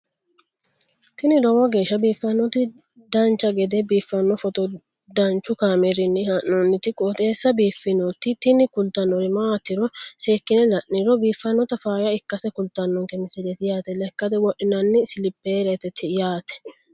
tini lowo geeshsha biiffannoti dancha gede biiffanno footo danchu kaameerinni haa'noonniti qooxeessa biiffannoti tini kultannori maatiro seekkine la'niro biiffannota faayya ikkase kultannoke misileeti yaate lekkate wodhinanni silipereeti yaate